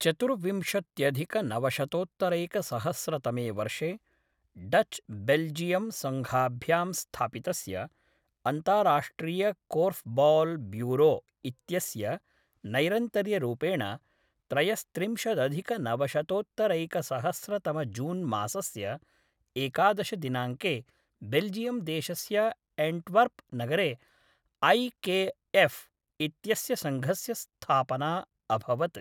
चतुर्विंशत्यधिकनवशतोत्तरैकसहस्रतमे वर्षे Dutch Belgium सङ्घाभ्यां स्थापितस्य अन्ताराष्ट्रियकोर्फ्बौल् ब्यूरो इत्यस्य नैरन्तर्यरूपेण त्रयस्त्रिंशदधिकनवशतोत्तरैकसहस्रतमजून्मासस्य एकादश दिनाङ्के बेल्जियम्देशस्य एण्टवर्प् नगरे ऐ के एफ़् इत्यस्य सङ्घस्य स्थापना अभवत्।